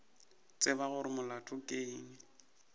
tsebe gore molato ke eng